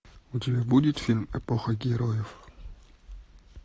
у тебя будет фильм эпоха героев